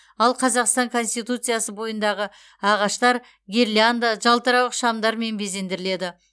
ал қазақстан конституциясы бойындағы ағаштар гирлянда жалтырауық шамдармен безендіріледі